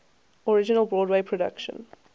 original broadway production